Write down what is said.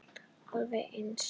Alveg eins!